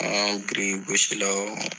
Anw ye birikigosilaw ye